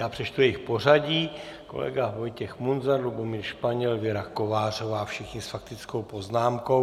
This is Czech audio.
Já přečtu jejich pořadí - kolega Vojtěch Munzar, Lubomír Španěl, Věra Kovářová, všichni s faktickou poznámkou.